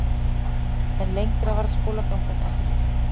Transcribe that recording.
En lengri varð skólagangan ekki.